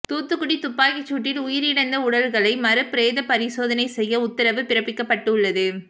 தூத்துக்குடி துப்பாக்கிச்சூட்டில் உயிர் இழந்த உடல்களை மறு பிரேத பரிசோதனை செய்ய உத்தரவு பிறப்பிக்கப்பட்டு உள்ளது